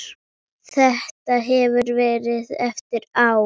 Þetta hefur verið erfitt ár.